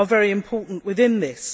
are very important within this.